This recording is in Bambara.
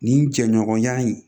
Nin jɛɲɔgɔnya in